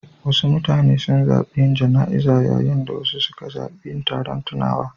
Wasu mutane sun zaɓi yin jana'iza, yayin da wasu suka zaɓi yin taron tunawa.